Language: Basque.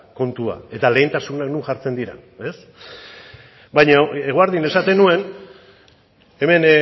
kontua eta lehentasunak non jartzen diren ez baina eguerdian esaten nuen hemen